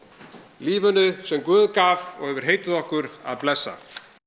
lífinu sem guð gaf og hefur heitið okkur að blessa